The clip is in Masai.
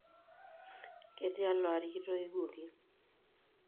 Ketialo aari kitoiuki?